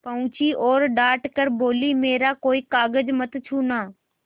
पहुँची और डॉँट कर बोलीमेरा कोई कागज मत छूना